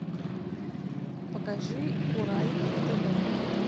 покажи курай на тв